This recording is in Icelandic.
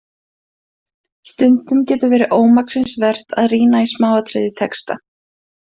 Stundum getur verið ómaksins vert að rýna í smáatriði í texta.